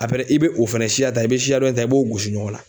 i bɛ o fɛnɛ siya ta i bɛ siya dɔ in ta i b'o gosi ɲɔgɔn na.